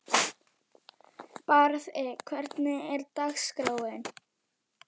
Barði, hvernig er dagskráin?